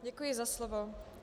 Děkuji za slovo.